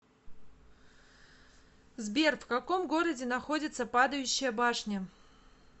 сбер в каком городе находится падающая башня